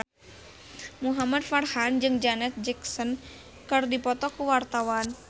Muhamad Farhan jeung Janet Jackson keur dipoto ku wartawan